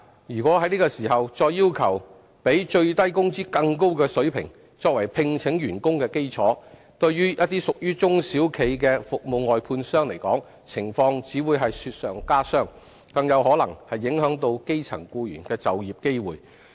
如在此時再要求比最低工資更高的水平，作為聘請員工的基礎，對於一些屬於中小企的服務外判商而言，情況只會雪上加霜，更有可能影響基層僱員的就業機會。